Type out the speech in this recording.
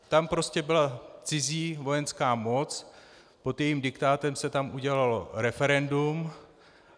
Tam prostě byla cizí vojenská moc, pod jejím diktátem se tam udělalo referendum.